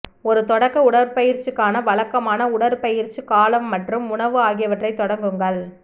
ஒரு தொடக்க உடற்பயிற்சிக்கான வழக்கமான உடற்பயிற்சிக் காலம் மற்றும் உணவு ஆகியவற்றைத் தொடங்குங்கள்